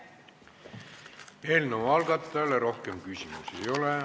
Eelnõu algatajale rohkem küsimusi ei ole.